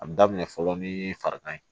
A bi daminɛ fɔlɔ ni farigan